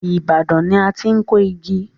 Ibadan ni a ti n kó igi.